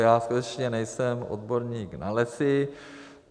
Já skutečně nejsem odborník na lesy.